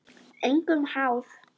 Engum háð.